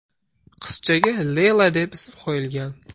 Qizchaga Leyla deb ism qo‘yilgan.